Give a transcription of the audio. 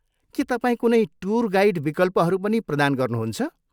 के तपाईँ कुनै टुर गाइड विकल्पहरू पनि प्रदान गर्नुहुन्छ?